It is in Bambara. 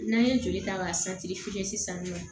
N'an ye joli ta k'a sisan nɔ